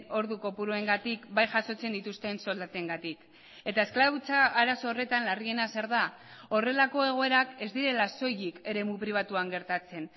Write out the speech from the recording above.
ordu kopuruengatik bai jasotzen dituzten soldatengatik eta esklabutza arazo horretan larriena zer da horrelako egoerak ez direla soilik eremu pribatuan gertatzen